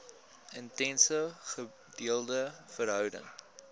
intense gedeelde verhouding